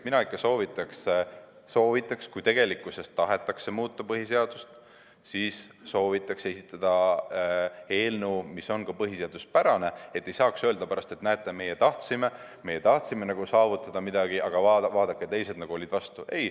Mina ikka soovitaks, et kui tegelikkuses tahetakse muuta põhiseadust, siis esitage eelnõu, mis on põhiseaduspärane, et ei saaks pärast öelda, et näete, meie tahtsime midagi saavutada, aga vaadake, teised olid vastu.